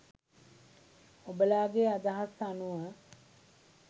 ඔබලාගෙ අදහස් අනුව